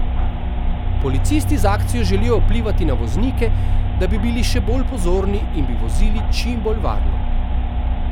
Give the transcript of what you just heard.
Policisti z akcijo želijo vplivati na voznike, da bi bili še bolj pozorni in bi vozili čim bolj varno.